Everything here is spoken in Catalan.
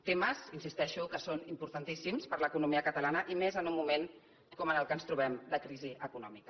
temes hi insisteixo que són importantíssims per a l’economia catalana i més en un moment com en el que ara ens trobem de crisi econòmica